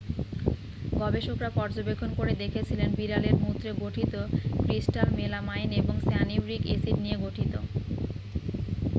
গবেষকরা পর্যবেক্ষণ করে দেখেছিলেন বিড়ালের মূত্রে গঠিত ক্রিস্ট্যাল মেলামাইন এবং সানিউরিক অ্যাসিড নিয়ে গঠিত